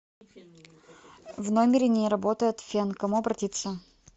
в номере не работает фен к кому обратиться